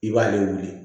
I b'ale wuli